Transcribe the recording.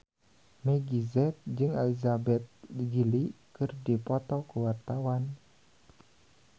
Meggie Z jeung Elizabeth Gillies keur dipoto ku wartawan